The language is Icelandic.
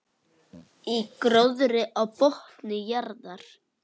Í gróðri á botni jarðar.